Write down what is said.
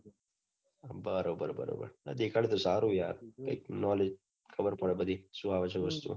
બરોબર બરોબર દેખાડ સે સારું ને યાર કઈક knowledge ખબર પડે શું આવે બઘુ